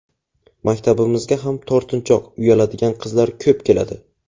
Maktabimizga ham tortinchoq, uyaladigan qizlar ko‘p keladi.